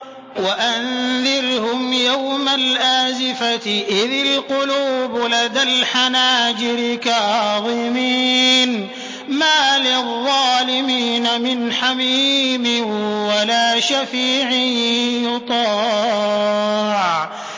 وَأَنذِرْهُمْ يَوْمَ الْآزِفَةِ إِذِ الْقُلُوبُ لَدَى الْحَنَاجِرِ كَاظِمِينَ ۚ مَا لِلظَّالِمِينَ مِنْ حَمِيمٍ وَلَا شَفِيعٍ يُطَاعُ